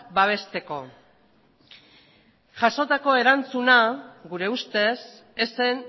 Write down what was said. babesteko jasotako erantzuna gure ustez ez zen